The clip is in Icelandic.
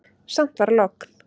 Samt var logn.